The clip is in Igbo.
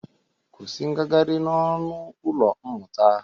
Kwusi ngagarị n'ọnụ ụlọ mmụta!